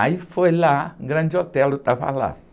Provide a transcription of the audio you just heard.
Aí foi lá, Grande Otelo estava lá.